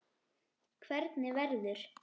Hvernig verður?